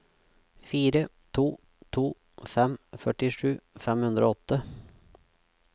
fire to to fem førtisju fem hundre og åtte